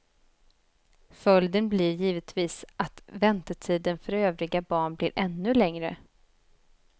Följden blir givetvis att väntetiden för övriga barn blir ännu längre.